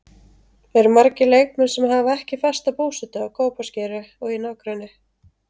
Eru margir leikmenn sem hafa ekki fasta búsetu á Kópaskeri og í nágrenni?